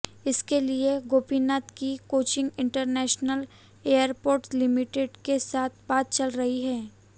इसके लिए गोपीनाथ की कोचीन इंटरनेशनल एयरपोर्ट लिमिटेड के साथ बात चल रही है